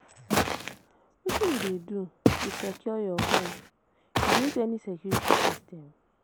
Wetin you dey do to secure your home, you dey use any security system?